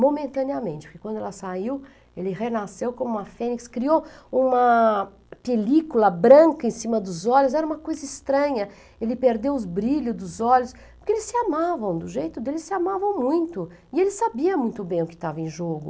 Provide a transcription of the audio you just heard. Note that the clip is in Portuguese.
momentaneamente, porque quando ela saiu, ele renasceu como uma fênix, criou uma película branca em cima dos olhos, era uma coisa estranha, ele perdeu os brilhos dos olhos, porque eles se amavam do jeito dele, eles se amavam muito, e ele sabia muito bem o que estava em jogo.